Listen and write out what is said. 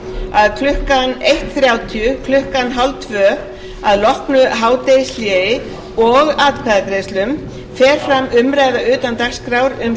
að klukkan eitt þrjátíu að loknu hádegishléi og atkvæðagreiðslum fer fram umræða utan dagskrár um